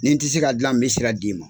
Ni n tɛ se ka dilan n bɛ sira d'i ma.